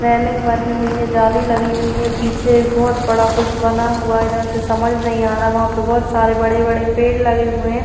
Railing बनी हुई है। जाली लगी हुई है। पीछे एक बहोत बड़ा कुछ बना हुआ है। इधर से समझ नहीं आ रहा। वहां पे बहोत सारे बड़े-बड़े पेड़ लगे हुए हैं।